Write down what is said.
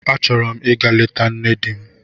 Achọrọ m ịga leta nne di m.